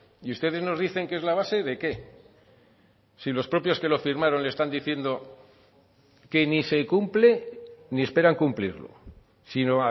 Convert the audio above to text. y ustedes nos dicen que es la base de qué si los propios que lo firmaron están diciendo que ni se cumple ni esperan cumplirlo sino